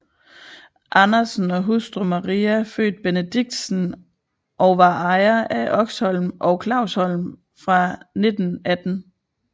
Andersen og hustru Maria født Benedictsen og var ejer af Oxholm og Klavsholm fra 1918